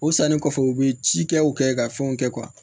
O sannen kɔfɛ u bɛ ci kɛ u kɛ ka fɛnw kɛ